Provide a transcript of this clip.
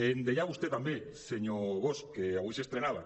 em deia vostè també senyor bosch que avui s’estrenava